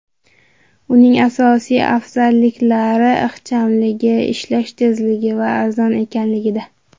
Uning asosiy afzalliklari ixchamligi, ishlash tezligi va arzon ekanligida.